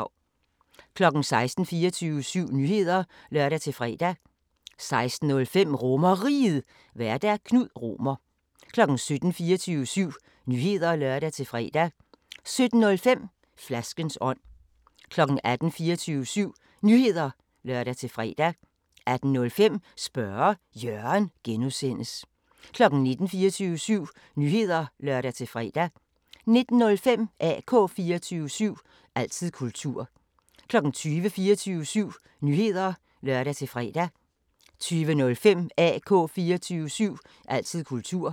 16:00: 24syv Nyheder (lør-fre) 16:05: RomerRiget, Vært: Knud Romer 17:00: 24syv Nyheder (lør-fre) 17:05: Flaskens ånd 18:00: 24syv Nyheder (lør-fre) 18:05: Spørge Jørgen (G) 19:00: 24syv Nyheder (lør-fre) 19:05: AK 24syv – altid kultur 20:00: 24syv Nyheder (lør-fre) 20:05: AK 24syv – altid kultur